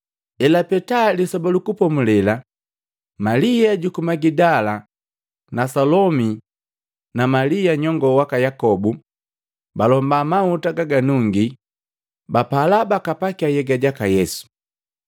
Elapeta Lisoba lu Kupomulela, Malia juku Magidala na Salomi na Malia nyongoo waka Yakobu balomba mahuta gaganungii bapala bakapakia nhyega jaka Yesu.